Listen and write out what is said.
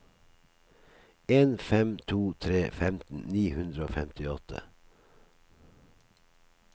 en fem to tre femten ni hundre og femtiåtte